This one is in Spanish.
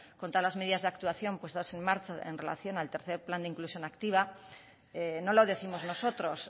con todas las medidas de actuación puestas en marcha en relación al tercero plan de inclusión activa no lo décimos nosotros